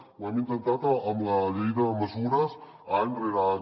ho hem intentat en la llei de mesures any rere any